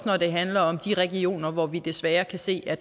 når det handler om de regioner hvor vi desværre kan se at